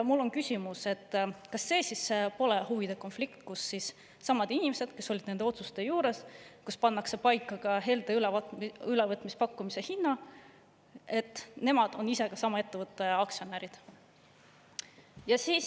Mul on küsimus: kas see siis pole huvide konflikt, kui samad inimesed, kes olid nende otsuste juures, kus pannakse paika ka helde ülevõtmispakkumise hind, on ise sama ettevõtte aktsionärid?